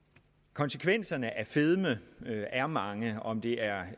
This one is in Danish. konsekvenserne af fedme er mange om det er